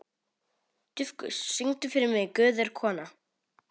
Dufgus, syngdu fyrir mig „Guð er kona“.